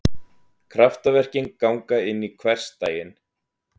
Kraftaverkin ganga inn í hversdaginn.